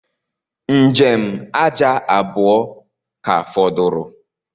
Njem aja abuọ ka fọdụrụ